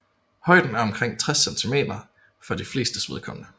Højden er omkring 60 cm for de flestes vedkommende